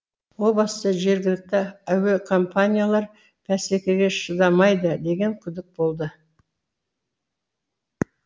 о баста жергілікті әуекомпаниялар бәсекеге шыдамайды деген күдік болды